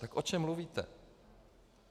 Tak o čem mluvíte?